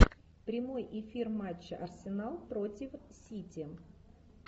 прямой эфир матча арсенал против сити